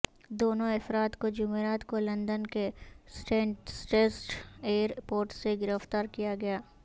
دونوں افراد کو جمعرات کو لندن کے سٹینسٹڈ ایئر پورٹ سے گرفتار کیا گیا